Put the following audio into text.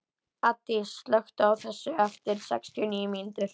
Addý, slökktu á þessu eftir sextíu og níu mínútur.